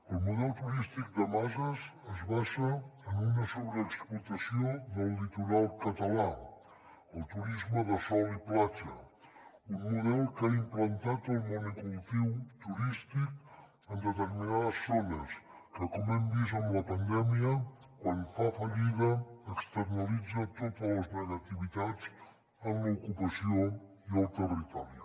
el model turístic de masses es basa en una sobreexplotació del litoral català el turisme de sol i platja un model que ha implantat el monocultiu turístic en determinades zones i com hem vist amb la pandèmia quan fa fallida externalitza totes les negativitats en l’ocupació i el territori